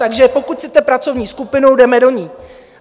Takže pokud chcete pracovní skupinu, jdeme do ní.